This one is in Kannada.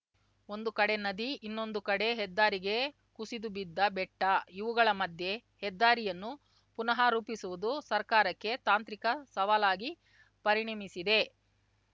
ಒಂದು ಕಡೆ ನದಿ ಇನ್ನೊಂದು ಕಡೆ ಹೆದ್ದಾರಿಗೆ ಕುಸಿದುಬಿದ್ದ ಬೆಟ್ಟ ಇವುಗಳ ಮಧ್ಯೆ ಹೆದ್ದಾರಿಯನ್ನು ಪುನಃ ರೂಪಿಸುವುದು ಸರ್ಕಾರಕ್ಕೆ ತಾಂತ್ರಿಕ ಸವಾಲಾಗಿ ಪರಿಣಮಿಸಿದೆ